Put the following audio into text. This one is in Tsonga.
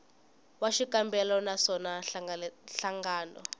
wa xikombelo na swona nhlangano